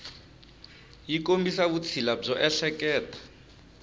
yi kombisa vutshila byo ehleketa